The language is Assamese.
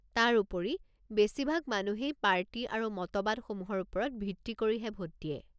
তাৰোপৰি, বেছিভাগ মানুহেই পাৰ্টী আৰু মতবাদসমূহৰ ওপৰত ভিত্তি কৰিহে ভোট দিয়ে।